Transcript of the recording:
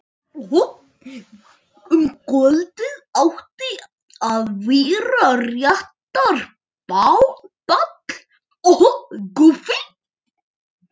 Um kvöldið átti að vera réttarball.